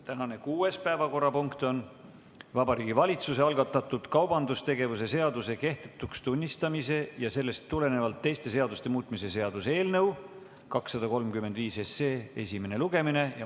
Tänane kuues päevakorrapunkt on Vabariigi Valitsuse algatatud kaubandustegevuse seaduse kehtetuks tunnistamise ja sellest tulenevalt teiste seaduste muutmise seaduse eelnõu 235 esimene lugemine.